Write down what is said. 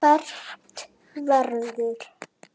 Fermt verður.